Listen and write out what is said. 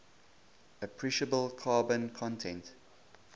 appreciable carbon content